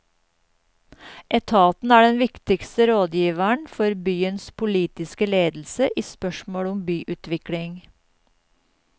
Etaten er den viktigste rådgiveren for byens politiske ledelse i spørsmål om byutvikling.